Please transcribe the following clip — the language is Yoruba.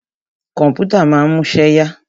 Kọ̀mpútà ma ń múṣẹ́ yá.